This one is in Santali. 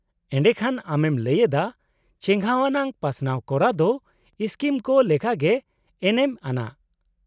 -ᱮᱰᱮᱠᱷᱟᱱ ᱟᱢᱮᱢ ᱞᱟᱹᱭ ᱮᱫᱟ ᱪᱮᱜᱷᱟᱣ ᱟᱱᱟᱜ ᱯᱟᱥᱱᱟᱣ ᱠᱚᱨᱟᱣ ᱫᱚ ᱥᱠᱤᱢ ᱠᱚ ᱞᱮᱠᱟᱜᱮ ᱮᱱᱮᱢ ᱟᱱᱟᱜ ᱾